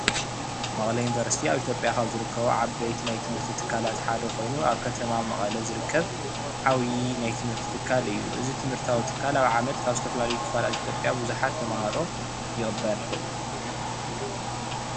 መቐለ ዩኒቨርስቲ ኣብ ኢትዮጵያ ኻብ ዝርከቡ ዓበይቲ ናይ ትምህርቲ ትካላት ሓደ ኮይኑ ኣብ ከተማ መቐለ ዝርከብ ዓብዪ ናይ ትምህርቲ ትካል እዩ፡፡ እዚ ትምህርታዊ ትካል ኣብ ዓመት ካብ ዝተፈላለዩ ክፋላት ኢትዮጵያ ብዙሓት ተመሃሮ ይቕበል፡፡